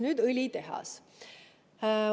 Nüüd õlitehas.